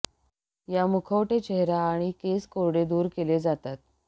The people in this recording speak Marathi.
या मुखवटे चेहरा आणि केस कोरडे दूर केले जातात